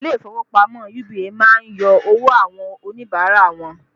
Ilé ìfowópamọ́ UBA má ń yọ owó àwọn Oníbàárà wọn